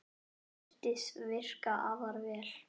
Það virðist virka afar vel.